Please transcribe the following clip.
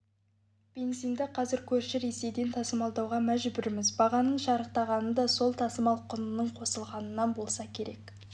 бензинді қазір көрші ресейден тасымалдауға мәжбүрміз бағаның шарықтағаны да сол тасымал құнының қосылғанынан болса керек